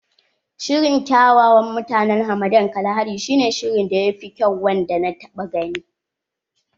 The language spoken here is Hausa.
Shirin kyawawan mutanen hamadan Kalahari shi ne shirin da ya fi kyau wanda na taɓa gani.